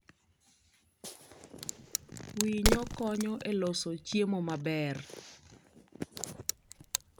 Winyo konyo e loso chiemo maber.